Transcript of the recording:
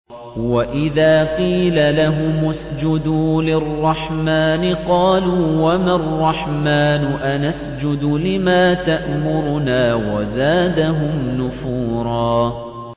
وَإِذَا قِيلَ لَهُمُ اسْجُدُوا لِلرَّحْمَٰنِ قَالُوا وَمَا الرَّحْمَٰنُ أَنَسْجُدُ لِمَا تَأْمُرُنَا وَزَادَهُمْ نُفُورًا ۩